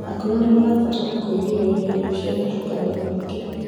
akũrũ nimarabatara kuigiririrĩa irio ciĩna cukari mũingĩ